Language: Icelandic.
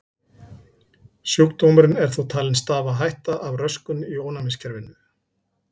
Sjúkdómurinn er þó talinn stafa af röskun í ónæmiskerfinu.